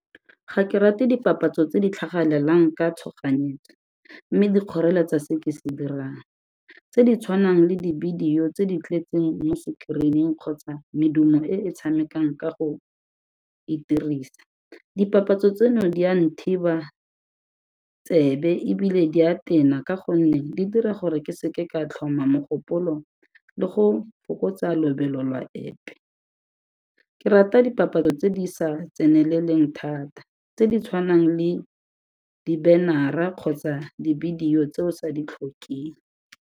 Ga ke rate dipapatso tse di tlhagelelang ka tshoganyetso mme di kgoreletsa se ke se dirang, tse di tshwanang le di-video tse di tletseng mo screen-ing kgotsa medumo e e tshamekang ka go itirisa. Dipapatso tseno di a nthiba tsebe ebile di a tena ka gonne di dira gore ke seke ka tlhoma mogopolo le go fokotsa lobelo lwa epe, ke rata dipapatso tse di sa tseneleleng thata tse di tshwanang le di-banner-a kgotsa di-video tse o sa di tlhokeng.